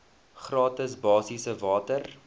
gratis basiese water